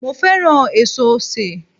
Mo fẹ́ràn èso osè